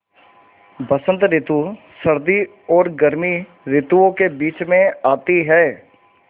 बसंत रितु सर्दी और गर्मी रितुवो के बीच मे आती हैँ